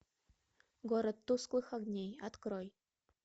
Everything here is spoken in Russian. город тусклых огней открой